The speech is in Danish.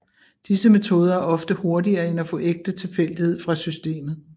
Disse metoder er ofte hurtigere end at få ægte tilfældighed fra systemet